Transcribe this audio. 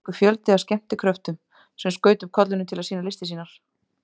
Hvílíkur fjöldi af skemmtikröftum sem skaut upp kollinum til að sýna listir sínar!